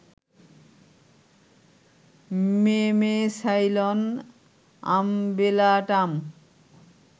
memecylon umbellatum